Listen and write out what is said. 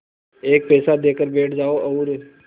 एक पैसा देकर बैठ जाओ और